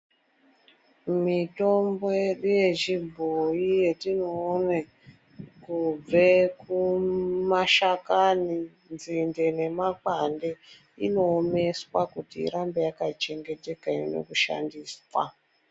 Mitombo yedu yechibhoyi yetioone kubve kumashakani, nzinde nemakwande inoomeswa kuti irambe yakachengeteka. Ione kushandiswa.